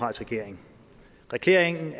regering regeringen